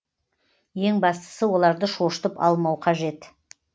ең бастысы оларды шошытып алмау қажет